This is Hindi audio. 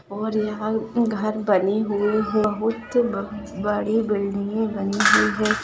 और यहा घर उतनी बनी हुई बहुत बड़ी बिल्डिंगे बनी हुई है।